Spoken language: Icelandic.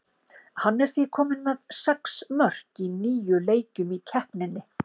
Hann er því kominn með sex mörk í níu leikjum í keppninni.